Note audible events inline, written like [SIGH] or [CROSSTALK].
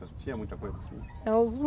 Tinha muita coisa assim. [UNINTELLIGIBLE]